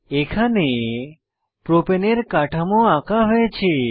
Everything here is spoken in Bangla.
এখানে প্রপাণে এর কাঠামো আঁকা হয়েছে